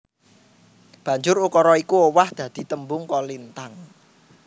Banjur ukara iku owah dadi tembung kolintang